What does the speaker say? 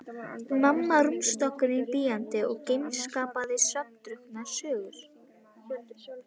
Mamma á rúmstokknum bíandi og geispandi svefndrukknar sögur.